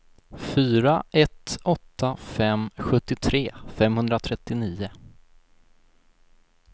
fyra ett åtta fem sjuttiotre femhundratrettionio